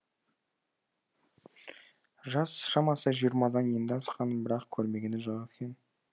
жас шамасы жиырмадан енді асқан бірақ көрмегені жоқ екен